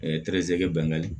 tɛrɛze bangali